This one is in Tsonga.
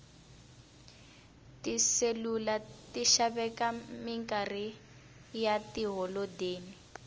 tiselula ti xaveka minkarhi ya tiholodeni